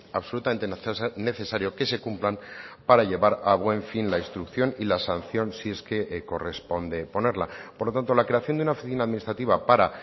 absolutamente necesario que se cumplan para llevar a buen fin la instrucción y la sanción si es que corresponde ponerla por lo tanto la creación de una oficina administrativa para